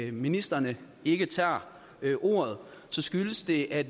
at ministrene ikke tager ordet så skyldes det at